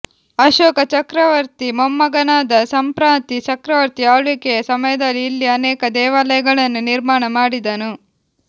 ಅಶೋಕ ಚಕ್ರವರ್ತಿ ಮೊಮ್ಮಗನಾದ ಸಂಪ್ರಾತಿ ಚಕ್ರವರ್ತಿ ಆಳ್ವಿಕೆಯ ಸಮಯದಲ್ಲಿ ಇಲ್ಲಿ ಅನೇಕ ದೇವಾಲಯಗಳನ್ನು ನಿರ್ಮಾಣ ಮಾಡಿದನು